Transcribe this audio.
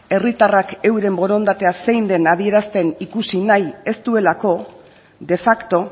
herritarrak euren borondatea zein den adierazten ikusi nahi ez duelako de facto